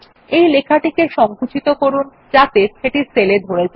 এই লেখাটিতে সংকুচিত করুন যাতে সেটি সেল এ ধরে যায়